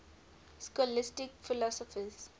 scholastic philosophers